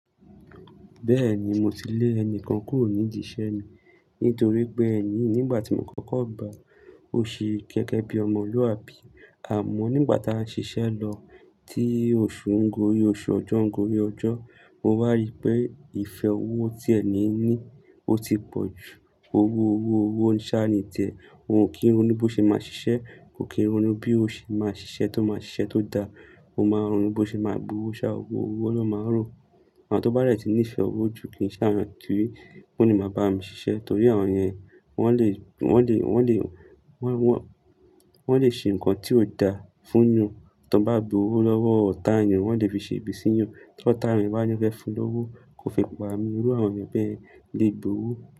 Bẹ́ẹ̀ni mo ti lè ẹni kan kúrò nídi iṣẹ́ mi nítorí pé ẹni yii nígbà tí mo kókó gbà á, ó ṣe gege bi ọmọlúwàbí àmọ́ nígbà tá a ń ṣiṣẹ́ lọ tí oṣù ń gorí oṣù, ọjọ́ ń gorí ọjọ́, mo wá rí pé ìfẹ́ owó tí ẹni ní ó ti pọ̀ ju. Ó wó owó, owó ń ṣà ní tiẹ̀. Ko kin ronu bó ṣe máa ṣiṣẹ́, kò kín ronu bí ó ṣe máa ṣiṣẹ́ tó máa ṣiṣẹ́ tó da. Ó máa ń ronu bó ṣe máa gbowó ṣá, owó, owó ló máa rò. Àwọn tó bá dẹ̀ ti ní ìfẹ́ owó ju kìn ṣe awón eyan to le máa bá mi ṣiṣẹ́ torí àwọn yẹn wọ́n le, wọ́n le, wọ́n le, wọ́n, wọ́n, wọ́n le ṣe nǹkan tí ó da fún yan. Tonba gba owó lọ́wọ́ ọ̀tá èyàn, wọ́n lè fi ṣe ibi sí yan. Tí ọ̀tá èeyàn bá ní won fe fún un lówó, kò fi pa mi. Irú àwọn èeyàn bẹ́ẹ̀ lè gb'owó.